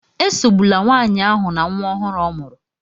Esogbula nwanyị ahụ na nwa ọhụrụ ọ mụrụ